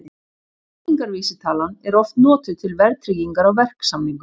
Byggingarvísitalan er oft notuð til verðtryggingar á verksamningum.